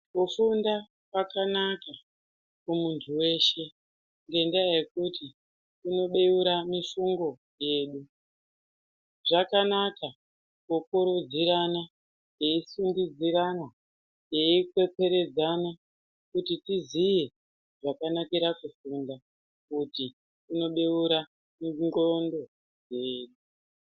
Kufunda kwakanaka kumuntu weshe ngendaa yekuti kunobeura mifungo yedu. Zvakanaka kukurudzirana, teisundidzirana, teikwekweredzana kuti tiziye zvakanakira kufunda kuti kunobeura nxondo dzedu.